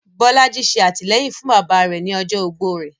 Bolaji ṣe atilẹyin fun baba rẹ ni ọjọ ogbó rẹ